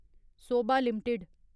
Sobha limited